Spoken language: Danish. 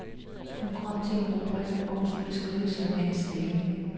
Hun kom til en rubrik, hvor hun skulle skrive sin mands stilling.